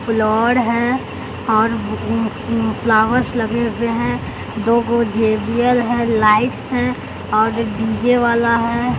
Floor है और उम्म उम्म फ्लावर्स लगे हुए हैं दो गो जेडीयल है लाइट्स हैं और डी_जे वाला है।